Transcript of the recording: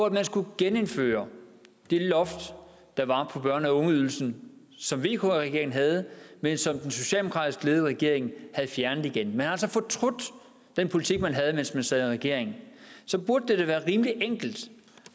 at man skulle genindføre det loft der var på børne og ungeydelsen som vk regeringen havde men som den socialdemokratisk ledede regering havde fjernet igen man har altså fortrudt den politik man havde mens man sad i regering så burde det da være rimelig enkelt